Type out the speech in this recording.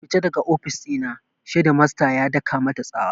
Fita daga ofis ɗina! shedmasta ya daka mata tsawa